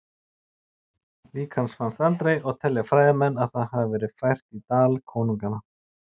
Lík hans fannst aldrei og telja fræðimenn að það hafi verið fært í Dal konunganna.